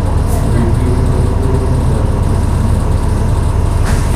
Ngitinye chutok tuguk komeboru kole itinye miondop seriat